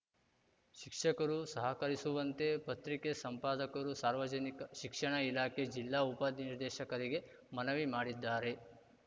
ಶಿಕ್ಷಕರು ಸಹಕರಿಸುವಂತೆ ಪತ್ರಿಕೆ ಸಂಪಾದಕರು ಸಾರ್ವಜನಿಕ ಶಿಕ್ಷಣ ಇಲಾಖೆ ಜಿಲ್ಲಾ ಉಪನಿರ್ದೇಶಕರಿಗೆ ಮನವಿ ಮಾಡಿದ್ದಾರೆ